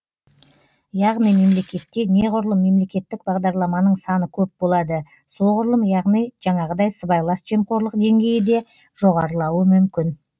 яғни мемлекетте неғұрлым мемлекеттік бағдарламаның саны көп болады соғұрлым яғни жаңағыдай сыбайлас жемқорлық деңгейі де жоғарылауы мүмкін